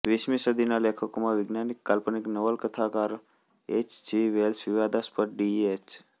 વીસમી સદીના લેખકોમાં વૈજ્ઞાનિક કાલ્પનિક નવલકથાકાર એચ જી વેલ્સ વિવાદાસ્પદ ડીયએચ